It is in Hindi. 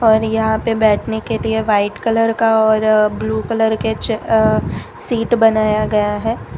और यहां पे बैठने के लिए व्हाइट कलर का और ब्लू कलर के च अ सीट बनाया गया है।